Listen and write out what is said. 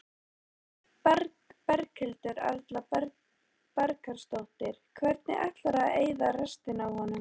Berghildur Erla Bernharðsdóttir: Hvernig ætlarðu að eyða restinni af honum?